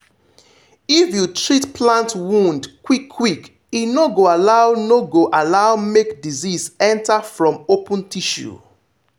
if you treat plant wound quick quick e no go allow no go allow make disease enter from open tissue.